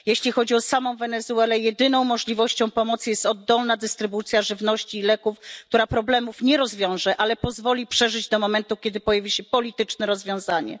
Jeśli chodzi o samą Wenezuelę, jedyną możliwością pomocy jest oddolna dystrybucja żywności i leków, która problemów nie rozwiąże, ale pozwoli przeżyć do momentu, kiedy pojawi się polityczne rozwiązanie.